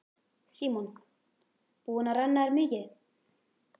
Símon: Búin að renna þér mikið?